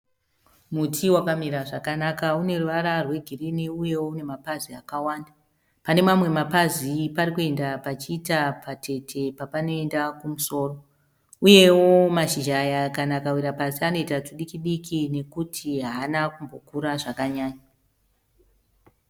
Muti wakamira zvakanaka uneruvara rwe girinhi uye une mapazi akawanda. Pane mamwe mapazi parikuenda pachiita patete papanoenda kumusoro. Uyewo mashizha aya kana akawira pasi anoita tudikidikii nokuti haana kukura zvakanyanya.